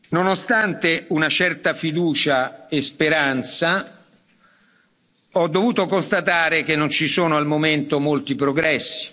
Nonostante una certa fiducia e speranza, ho dovuto constatare che non ci sono al momento molti progressi.